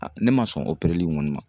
Ne ma sɔn opereli kɔni ma